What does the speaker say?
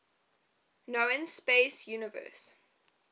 known space universe